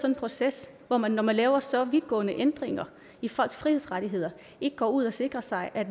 en proces hvor man når man laver så vidtgående ændringer i folks frihedsrettigheder ikke går ud og sikrer sig at